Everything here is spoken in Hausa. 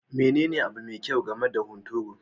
Menene abu me kyau game da hunturu?